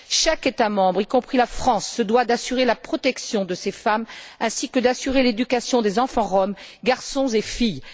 Chaque État membre, y compris la France, se doit d'assurer la protection de ces femmes et d'assurer l'éducation des enfants roms, garçons et filles.